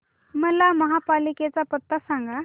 मला महापालिकेचा पत्ता सांग